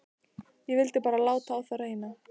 Ég vildi bara láta á það reyna.